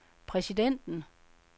præsidenten